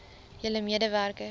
julle mede werkers